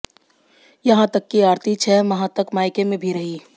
यहां तक कि आरती छह माह तक मायके में भी रही